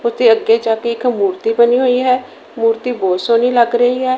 ਉਹਦੇ ਅੱਗੇ ਜਾ ਕੇ ਇੱਕ ਮੂਰਤੀ ਬਣੀ ਹੋਈ ਹੈ ਮੂਰਤੀ ਬਹੁਤ ਸੋਹਣੀ ਲੱਗ ਰਹੀ ਹੈ।